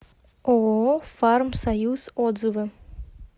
ооо фармсоюз отзывы